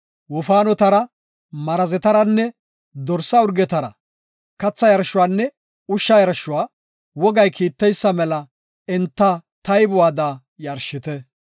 Wofaanotara, marazetaranne dorsa urgetara katha yarshuwanne ushsha yarshuwa wogay kiitteysa mela enta taybuwada yarshite.